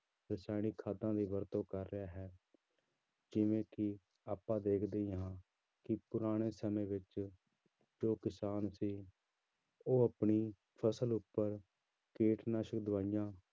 ਰਸਾਇਣਿਕ ਖਾਦਾਂ ਦੀ ਵਰਤੋਂ ਕਰ ਰਿਹਾ ਹੇ ਜਿਵੇਂ ਕਿ ਆਪਾਂ ਦੇਖਦੇ ਹੀ ਹਾਂ ਕਿ ਪੁਰਾਣੇ ਸਮੇਂ ਵਿੱਚ ਜੋ ਕਿਸਾਨ ਸੀ ਉਹ ਆਪਣੀ ਫ਼ਸਲ ਉੱਪਰ ਕੀਟਨਾਸ਼ਕ ਦਵਾਈਆਂ।